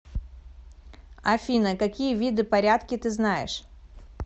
афина какие виды порядки ты знаешь